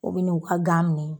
U bɛ ni u ka gan minɛ.